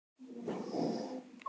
HVAMMUR Í DÖLUM